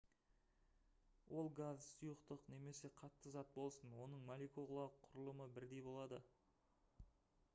ол газ сұйықтық немесе қатты зат болсын оның молекулалық құрылымы бірдей болады